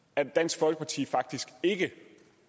at dansk folkeparti faktisk ikke